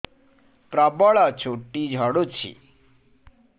ପ୍ରବଳ ଚୁଟି ଝଡୁଛି